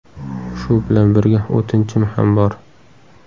Shu bilan birga o‘tinchim ham bor.